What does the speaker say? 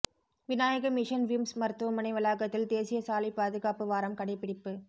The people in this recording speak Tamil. விநாயக மிஷன் விம்ஸ் மருத்துவமனை வளாகத்தில் தேசிய சாலை பாதுகாப்பு வாரம் கடைப்பிடிப்பு